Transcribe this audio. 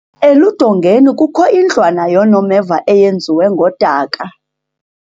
eludongeni kukho indlwana yoonomeva eyenziwe ngodaka